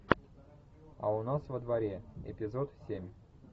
а у нас во дворе эпизод семь